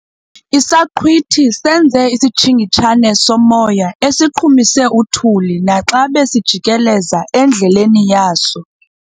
Isaqhwithi senze isitshingitshane somoya esiqhumise uthuli naxa besizijikeleza endleleni yaso.